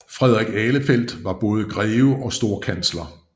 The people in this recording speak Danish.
Frederik Ahlefeldt var både greve og storkansler